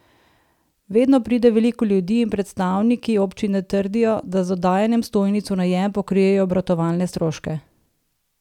Vedno pride veliko ljudi in predstavniki občine trdijo, da z oddajanjem stojnic v najem pokrijejo obratovalne stroške.